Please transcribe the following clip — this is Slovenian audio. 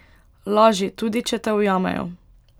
Laži, tudi če te ujamejo.